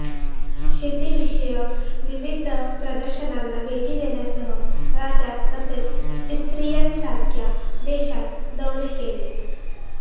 शेतीविषयक विविध प्रदर्शनांना भेटी देण्यासह राज्यात तसेच इस्राईलसारख्या देशात दौरे केले